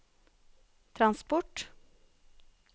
transport